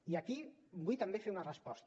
i aquí vull també fer una resposta